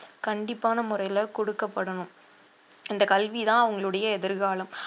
கண்டிப்பான முறையில குடுக்கப்படணும் இந்த கல்விதான் அவங்களுடைய எதிர்காலம்